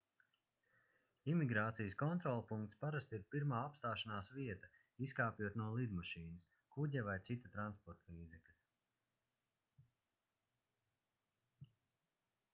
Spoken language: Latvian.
imigrācijas kontrolpunkts parasti ir pirmā apstāšanās vieta izkāpjot no lidmašīnas kuģa vai cita transportlīdzekļa